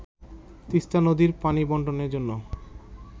তিস্তা নদীর পানি বন্টনের জন্য